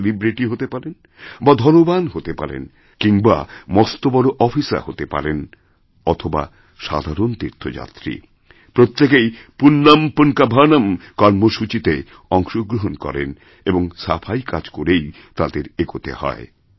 তিনিসেলিব্রিটি হতে পারেন বা ধনবান হতে পারেন কিংবা মস্ত বড় অফিসার হতে পারেন অথবাসাধারণ তীর্থযাত্রী প্রত্যেকেই পূণ্যম্ পুন্কাভনম্ কর্মসূচিতে অংশগ্রহণ করেনএবং সাফাই কাজ করেই তাঁদের এগোতে হয়